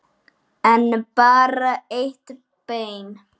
En bara eitt bein.